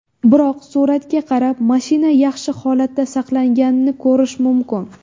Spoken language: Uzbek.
Biroq, suratga qarab, mashina yaxshi holatda saqlanganini ko‘rish mumkin.